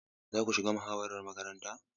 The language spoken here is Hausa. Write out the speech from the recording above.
Za ku shiga muhawarar makarantar?